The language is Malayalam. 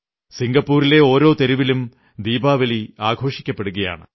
സിംഗപ്പൂരിലെ ഓരോ തെരുവിലും ദീപാവലി ആഘോഷിക്കപ്പെടുകയാണ്